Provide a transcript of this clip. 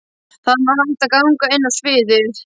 Þaðan var hægt að ganga inn á sviðið.